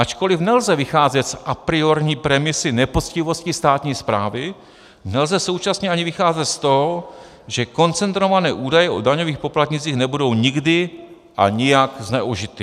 Ačkoliv nelze vycházet z apriorní premisy nepoctivosti státní správy, nelze současně ani vycházet z toho, že koncentrované údaje o daňových poplatnících nebudou nikdy a nijak zneužity.